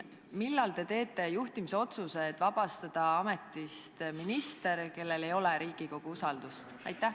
Millal te teete juhtimisotsuse, et vabastada ametist minister, kellel ei ole Riigikogu usaldust?